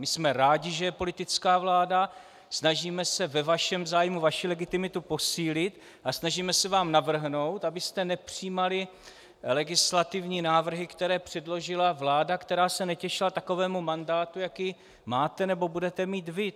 My jsme rádi, že je politická vláda, snažíme se ve vašem zájmu vaši legitimitu posílit a snažíme se vám navrhnout, abyste nepřijímali legislativní návrhy, které předložila vláda, která se netěšila takovému mandátu, jaký máte nebo budete mít vy.